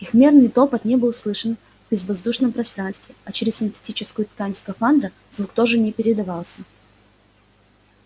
их мерный топот не был слышен в безвоздушном пространстве а через синтетическую ткань скафандра звук тоже не передавался